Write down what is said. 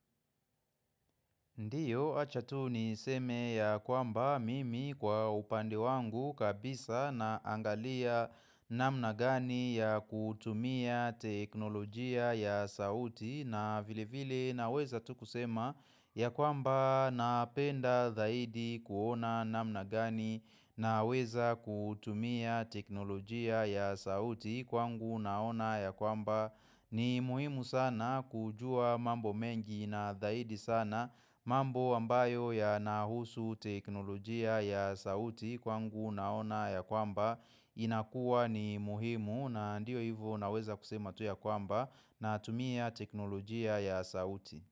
Ndio acha tu niseme ya kwamba mimi kwa upande wangu kabisa naangalia namna gani ya kutumia teknolojia ya sauti na vilevile naweza tu kusema ya kwamba napenda zaidi kuona namna gani naweza kutumia teknolojia ya sauti kwangu naona ya kwamba ni muhimu sana kujua mambo mengi na zaidi sana mambo ambayo yanahusu teknolojia ya sauti kwangu naona ya kwamba, inakua ni muhimu na ndio hivyo naweza kusema tu ya kwamba natumia teknolojia ya sauti.